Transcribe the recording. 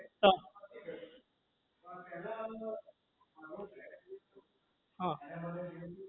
તો તો હા